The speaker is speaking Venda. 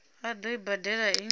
a ḓo i badela i